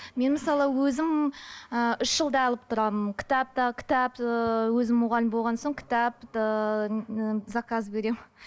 мен мысалы өзім ііі үш жылда алып тұрамын кітап та кітап ыыы өзім мұғалім болған соң кітап ыыы заказ беремін